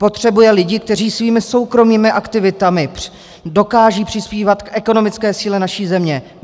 Potřebuje lidi, kteří svými soukromými aktivitami dokážou přispívat k ekonomické síle naší země.